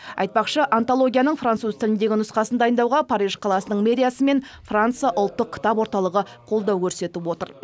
айтпақшы антологияның француз тіліндегі нұсқасын дайындауға париж қаласының мэриясы мен франция ұлттық кітап орталығы қолдау көрсетіп отыр